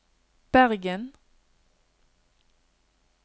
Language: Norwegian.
Bergen